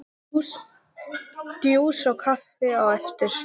Djús og kaffi á eftir.